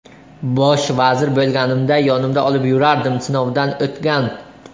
Bosh vazir bo‘lganimda, yonimda olib yurardim, sinovdan o‘tgan.